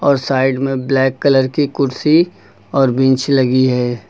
Side में black colour की कुर्सी और बिंच लगी है।